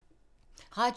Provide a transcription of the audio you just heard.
Radio 4